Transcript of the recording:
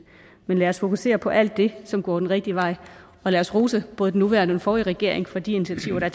men lad os fokusere på alt det som går den rigtige vej og lad os rose både den nuværende forrige regering for de initiativer der